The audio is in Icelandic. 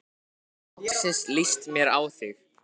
Nú loksins líst mér á þig.